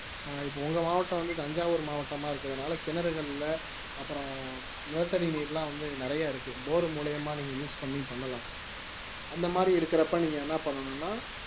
ஆஹ் இப்ப உங்க மாவட்டம் வந்து தஞ்சாவூர் மாவட்டமா இருக்கிறதுனால கிணறுகள்ல அப்புறம் நிலத்தடி நீர்லாம் வந்து நிறைய இருக்கு போர் மூலியமா நீங்க use பண்ணி பண்ணலாம் அந்த மாதிரி இருக்கிறப்ப நீங்க என்ன பண்ணணும்னா